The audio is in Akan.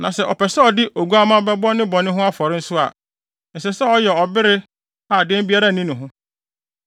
“ ‘Na sɛ ɔpɛ sɛ ɔde oguamma bɛbɔ ne bɔne ho afɔre nso a, ɛsɛ sɛ ɔyɛ ɔbere a dɛm biara nni ne ho.